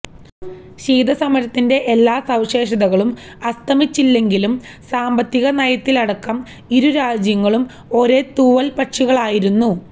ശീതസമരത്തിന്റെ എല്ലാ സവിശേഷതകളും അസ്തമിച്ചില്ലെങ്കിലും സാമ്പത്തിക നയത്തിലടക്കം ഇരു രാജ്യങ്ങളും ഒരേ തൂവല് പക്ഷികളായിരുന്നു